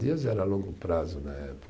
Dias era longo prazo na época.